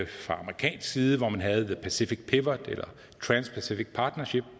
fra amerikansk side havde man the pacific pivot eller trans pacific partnership